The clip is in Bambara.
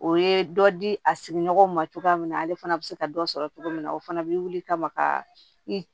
O ye dɔ di a sigiɲɔgɔnw ma cogoya min na ale fana bɛ se ka dɔ sɔrɔ cogo min na o fana bɛ wuli kama ka i